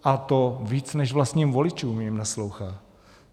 A to víc než vlastním voličům jim naslouchá.